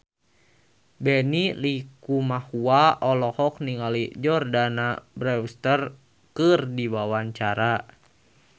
Benny Likumahua olohok ningali Jordana Brewster keur diwawancara